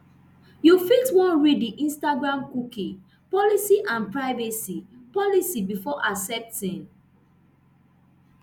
you fit wan read di instagram cookie policy and privacy policy before accepting